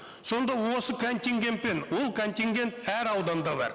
сонда осы контингентпен ол контингент әр ауданда бар